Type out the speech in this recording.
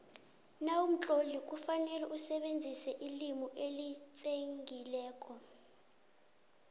nawumtloli kufanele usebenzise ilimi elitsengileko